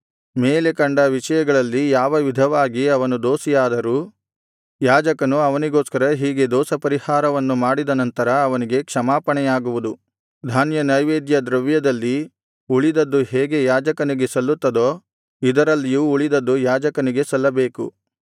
ಮೇಲೆ ಕಂಡ ವಿಷಯಗಳಲ್ಲಿ ಯಾವ ವಿಧವಾಗಿ ಅವನು ದೋಷಿಯಾದರೂ ಯಾಜಕನು ಅವನಿಗೋಸ್ಕರ ಹೀಗೆ ದೋಷಪರಿಹಾರವನ್ನು ಮಾಡಿದನಂತರ ಅವನಿಗೆ ಕ್ಷಮಾಪಣೆಯಾಗುವುದು ಧಾನ್ಯನೈವೇದ್ಯ ದ್ರವ್ಯದಲ್ಲಿ ಉಳಿದದ್ದು ಹೇಗೆ ಯಾಜಕನಿಗೆ ಸಲ್ಲುತ್ತದೋ ಇದರಲ್ಲಿಯೂ ಉಳಿದದ್ದು ಯಾಜಕನಿಗೆ ಸಲ್ಲಬೇಕು